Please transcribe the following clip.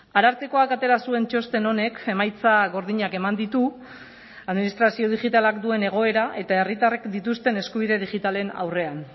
arartekoak atera zuen txosten honek emaitza gordinak eman ditu administrazio digitalak duen egoera eta herritarrek dituzten eskubide digitalen aurrean